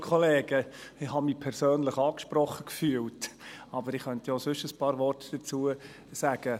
Ich habe mich persönlich angesprochen gefühlt, aber ich könnte auch sonst ein paar Worte dazu sagen.